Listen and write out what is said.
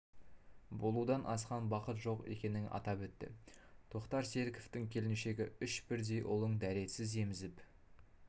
болудан асқан бақыт жоқ екенін атап өтті тоқтар серіковтің келіншегі үш бірдей ұлын дәретсіз емізіп